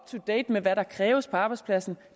to date med hvad der kræves på arbejdspladsen